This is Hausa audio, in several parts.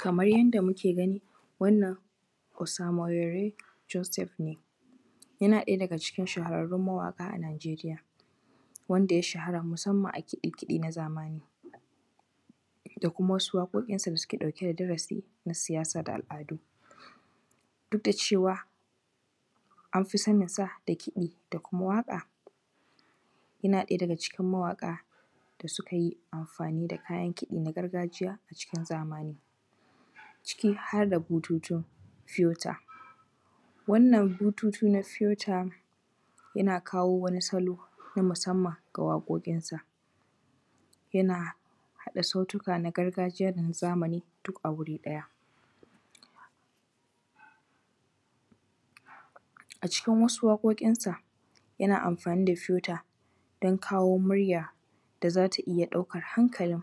Kamar yadda muke gani Osamurere Josep ne, yana ɗaya daga cikin shafararrrun mawaƙa a Najeriya, wanda ya shara musamman a kiɗe-kiɗe na zamani. Da kuma wasu waƙoƙinsa da suke ɗauke da darasi na siyasa da al’adu. Duk da cewa an fi saninsa da kiɗi da kuma waƙa, yana ɗaya da kicin mawaƙa da suka yi amfani da kayan kiɗi na gargajiya a cikin zamani, ciki har da bututun filter, Wannan bututu na filter yana kawo wani salon a musamman ga waƙoƙinsa. Yana haɗa sautuka na gargajiya da na zamani duk a wuri ɗaya. A cikin wasu waƙoƙinsa yana amfani da filter don kawo murya da za ta iya ɗaukar hankalin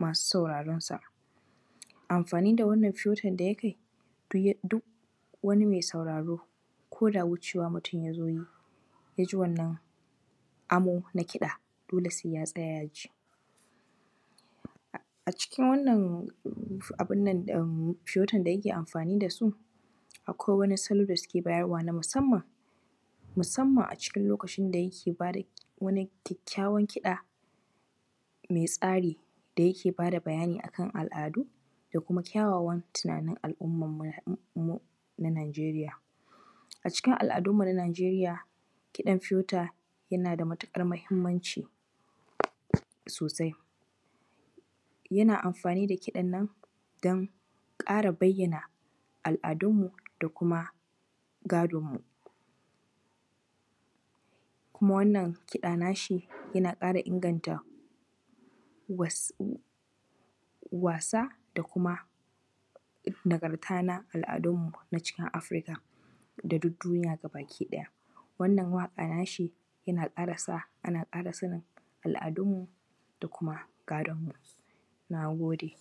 masu saurarensa. Amfani da wannan filter da yake, duk wani mai sauraro ko da mutum wucewa mutum ya zo yi, ya ji wannan amo na kiɗa dole sai ya tsaya ya ji. A cikin wannan abun nan am filtan da yake amfani da su, akwai wasu salo da suke bayarwa na musamman, musamman a cikin lokacin da yake ba da wani kyakkawan kiɗa, mai tsari da yake ba da bayani a kan al’adu da kuma kyawawan tunanin al’ummanmu na Najeria. A cikin al’adunmu na Najeria kiɗan filter yana da matuɗar muhimmanci sosai. Yana amfani da kiɗannan don ƙara bayyana al’adunmu da kuma gadonmu. Kuma wannan kiɗa na shi yana ƙara inganta wasa da kuma, nagarta na al’adunmu na cikin Afirika da duk duniya gaba-ki-ɗaya. Wannan waƙa nashi yana sa ana ƙara sanin al’adunmu da kuma gadonmu. Na gode.